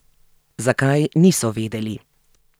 Zakaj, niso vedeli.